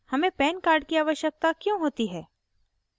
हमें pan card की आवश्यकता क्यों होती है